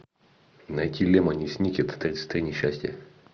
найти лемони сникет тридцать три несчастья